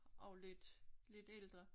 Og lidt lidt ældre